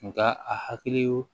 Nga a hakili ye